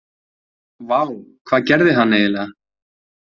Vá, hvað gerði hann eiginlega?